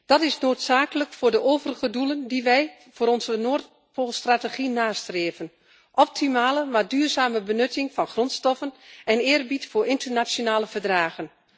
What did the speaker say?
Dat is noodzakelijk voor de overige doelen die wij voor onze Noordpoolstrategie nastreven optimale maar duurzame benutting van grondstoffen en eerbied voor internationale verdragen.